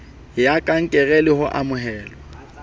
ya kankere le ho amohelwa